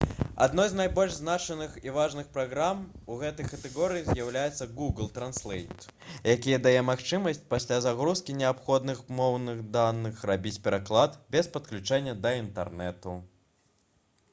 адной з найбольш значных і важных праграм у гэтай катэгорыі з'яўляецца google translate які дае магчымасць пасля загрузкі неабходных моўных даных рабіць пераклад без падключэння да інтэрнэту